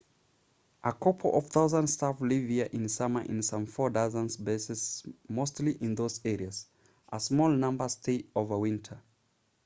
a couple of thousand staff live here in summer in some four dozen bases mostly in those areas a small number stay over winter